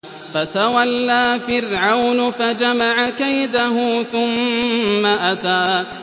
فَتَوَلَّىٰ فِرْعَوْنُ فَجَمَعَ كَيْدَهُ ثُمَّ أَتَىٰ